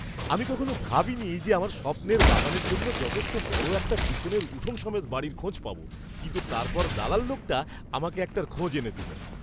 আমি কখনও ভাবিনি যে আমার স্বপ্নের বাগানের জন্য যথেষ্ট বড় একটা পিছনের উঠোন সমেত বাড়ির খোঁজ পাব, কিন্তু তারপর দালাল লোকটা আমাকে একটার খোঁজ এনে দিল!